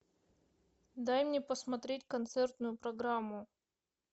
дай мне посмотреть концертную программу